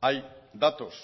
hay datos